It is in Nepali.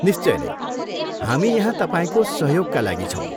निश्चय नै, हामी यहाँ तपाईँको सहयोगका लागि छौँ।